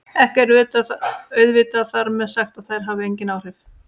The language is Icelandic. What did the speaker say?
Ekki er auðvitað þar með sagt að þær hafi engin áhrif!